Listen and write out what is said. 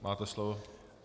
Máte slovo.